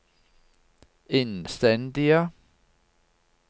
innstendige